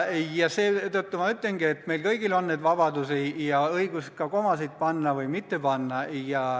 Seetõttu ma ütlengi, et meil kõigil on vabadus ja õigus otsustada, kas komasid panna või mitte panna.